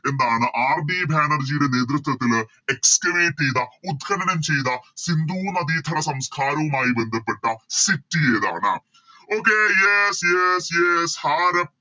എന്താണ് RD ബാനർജിയുടെ നേതൃത്വത്തില് Excavate ചെയ്ത ഉദ്ഘനനം ചെയ്ത സിന്ധു നദിതട സംസ്കാരവുമായി ബന്ധപ്പെട്ട City ഏതാണ് Okay yes yes yes ഹരപ്പ്